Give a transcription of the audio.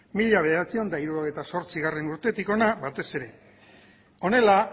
mila bederatziehun eta hirurogeita zortzigarrena urtetik hona batez ere honela